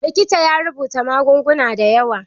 Likitan ya rubuta magunguna da yawa.